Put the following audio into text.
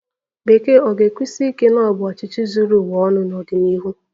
Bekee ga-ekwusi ike na ọ bụ ọchịchị zuru ụwa ọnụ n'ọdịnihu?